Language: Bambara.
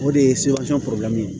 O de ye ye